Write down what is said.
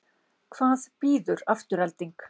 Hvað býður Afturelding?